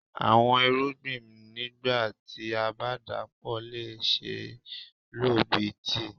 Awọn irugbin Moringa nigba ti a ba dapọ le ṣee lo bi tii.